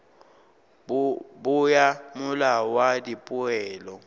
bo ya molao wa dipoelo